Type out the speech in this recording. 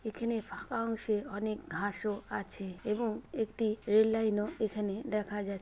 এখানে ফাঁকা অংশে অনেক ঘাসও আছে এবং একটি রেল লাইন ও এখানে দেখা যা--